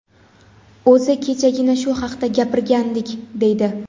O‘zi kechagina shu haqda gapirgandik, deydi.